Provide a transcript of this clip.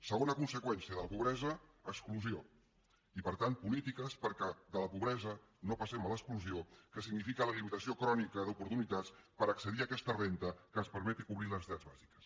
segona conseqüència de la pobresa exclusió i per tant polítiques perquè de la pobresa no passem a l’exclusió que significa la limitació crònica d’oportunitats per accedir a aquesta renda que els permeti cobrir les necessitats bàsiques